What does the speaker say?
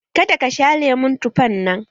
Ka da ka sha lemon tufan nan!